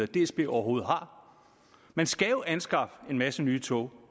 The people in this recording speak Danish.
dsb overhovedet har man skal jo anskaffe en masse nye tog